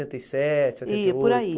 E sete, setenta e oito. E por aí